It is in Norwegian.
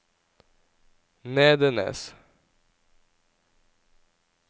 Nedenes